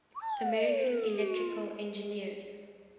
american electrical engineers